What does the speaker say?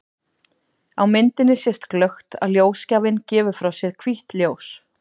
Á myndinni sést glöggt að ljósgjafinn gefur frá sér hvítt ljós.